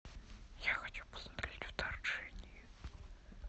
я хочу посмотреть вторжение